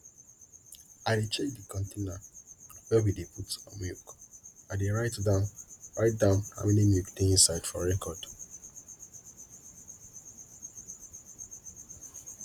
i dey check de container wey we dey put milk i dey write down write down how many milk dey inside for record